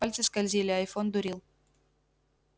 пальцы скользили айфон дурил